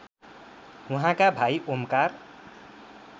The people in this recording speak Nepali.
उहाँका भाइ ओमकार